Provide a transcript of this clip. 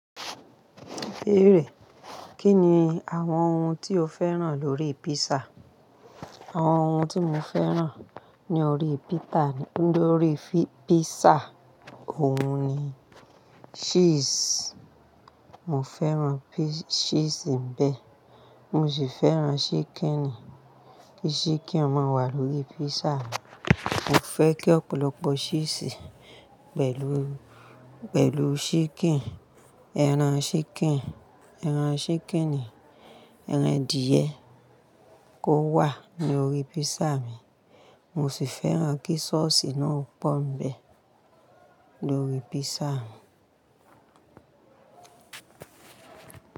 Bírè, Kí ni àwọn ohun tí o fẹ́ràn lórí pízza? Àwọn ohun tí mo fẹ́ràn ní orí pita-- lórí písà, òun ni ṣíísì, mo fẹ́ràn ṣíísì ń bẹ, mo sì fẹ́ràn ṣíkìn ni. Kí ṣíkìn máa wà lórí písà mi. Mo fẹ́ kí ọ̀pọ̀lọpọ̀ ṣíísì pẹ̀lú, pẹ̀lú ṣíkìn, ẹran ṣíkìn, ẹran ṣíkìn ni, ẹran adìẹ kó wà lórí písà mi, mo sì fẹ́ràn kí sọ́ọ̀sì náà pọ́n bẹ lórí písà mi.